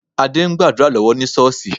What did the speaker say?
Adé ń gbàdúrà lọ́wọ́ ní Ṣọ́ọ̀ṣì